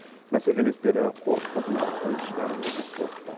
бәсекелестері қорқытып нарықтан шығарып жібермек болыпты